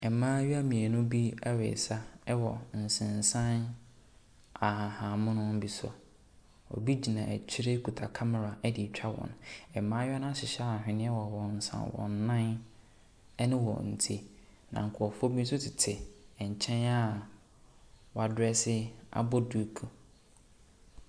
Mmaayewa mmienu bi resa wɔ nsensan ahahammono bi so. Obi gyina akyire kita camera de retwa wɔn. Mmaayewa no ahyehyɛ ahweneɛ wɔ wɔn nsa, wɔn nan ne wɔn ti, na nkurɔfoɔ bi nso tete nkyɛn wɔzdrɛse abɔ duku.